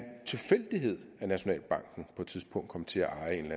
tilfældighed at nationalbanken på et tidspunkt kom til at eje en